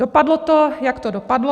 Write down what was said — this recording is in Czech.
Dopadlo to, jak to dopadlo.